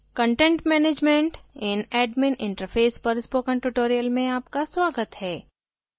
content management in admin interface पर spoken tutorial में आपका स्वागत है